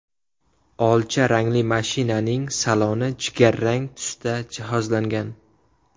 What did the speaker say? Olcha rangli mashinaning saloni jigarrang tusda jihozlangan.